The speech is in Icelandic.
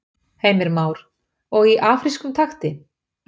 Heimir Már: Og í afrískum takti?